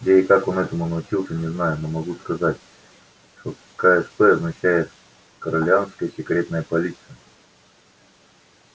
где и как он этому научился не знаю но могу сказать что ксп означает корелианская секретная полиция